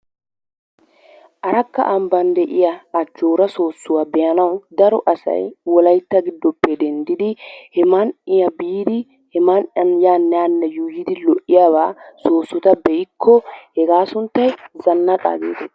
Arakka ambbaan de'iyaa ajjoora soossuwaa be'anawu daro asay wollaytta giddoppe denddidi he man"iyaa biidi he man"iyaan yaanne haanne yuuyyidi lo"iyaabaa soossota be'ikko hegaa sunttay zanaqqaa getettees.